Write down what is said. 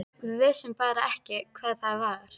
Við vissum bara ekki hvað það var.